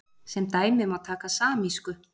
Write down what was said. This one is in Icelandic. Sem dæmi má taka samísku.